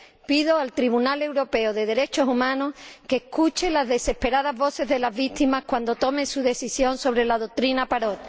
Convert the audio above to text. Pido al Tribunal Europeo de Derechos Humanos que escuche las desesperadas voces de las víctimas cuando tome su decisión sobre la doctrina Parot.